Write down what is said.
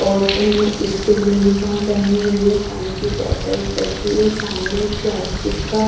और इन्होंने school uniform पहनी हुई हैं पानी की बोतल्स रखी हैं सामने एक प्लास्टिक का--